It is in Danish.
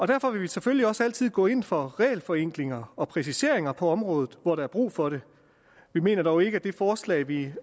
derfor vil vi selvfølgelig også altid gå ind for regelforenklinger og præciseringer på området hvor der er brug for det vi mener dog ikke at det forslag vi